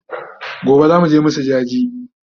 Gobe zamuje mu masu jaje